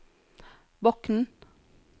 Bokn